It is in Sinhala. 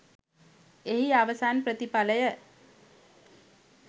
එහි අවසන් ප්‍රතිඵලය